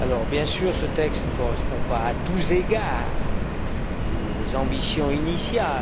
Bien sûr, ce texte ne correspond pas à tous égards aux ambitions initiales.